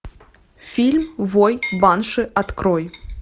фильм вой банши открой